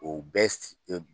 O bɛɛ